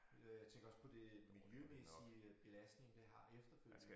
Øh tænker også på det miljømæssige øh belastning det har efterfølgende